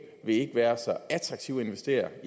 vil ikke være så attraktivt at investere